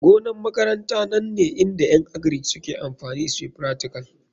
Gonan makaranta nan ne inda en agric suke amfani suyi fractical.